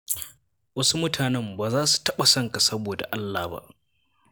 Wasu mutanen ba za su taɓa son ka saboda Allah ba.